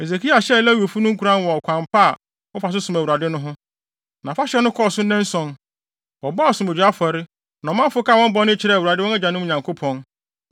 Hesekia hyɛɛ Lewifo no nkuran wɔ ɔkwan pa a wɔfa so som Awurade no ho. Na afahyɛ no kɔɔ so nnanson. Wɔbɔɔ asomdwoe afɔre, na ɔmanfo kaa wɔn bɔne kyerɛɛ Awurade, wɔn agyanom Nyankopɔn.